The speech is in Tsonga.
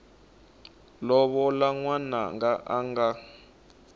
lovola n wananga a nga